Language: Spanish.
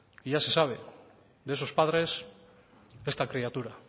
y ya se sabe de esos padres esta criatura